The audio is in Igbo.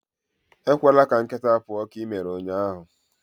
ekwela ka nkịta pụọ ​​ka i mere ụnyahụ!